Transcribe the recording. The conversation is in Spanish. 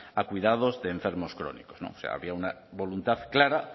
a cuidados de enfermos crónicos o sea había una voluntad clara